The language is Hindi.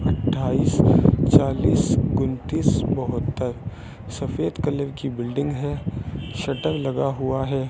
अट्ठाईस चालीस कुनतीस बहत्तर सफेद कलर की बिल्डिंग है शटर लगा हुआ है।